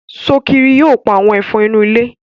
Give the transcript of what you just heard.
Sokiri yóò pá àwọn Ẹ̀fọ̀n inú ilé.